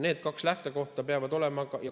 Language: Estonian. Need kaks lähtekohta peavad olema.